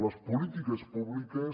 les polítiques públiques